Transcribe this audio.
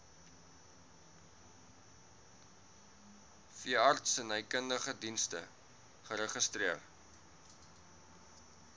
veeartsenykundige dienste geregistreer